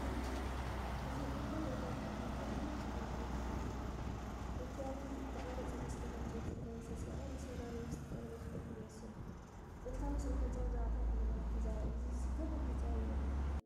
እዚ ጥንታዊን ታሪኻውን ቦታ ክንደይ ጽብቕቲ እያ! እቲ ኣብቲ ዝተቐርጸ መስኮት ዕንጨይቲ ዝለበሰ ሰብኣይ ንሰላምን ምስጢርን ዝሕሉ ይመስል። ጥንታዊ ስነ ህንጻ ብዛዕባ ታሪኽ ዘመናት ይዛረብ። እዚ ዘገርም ህንጻ ኣበይ ይርከብ?